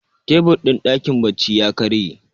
tebur din dakin bacci ya karye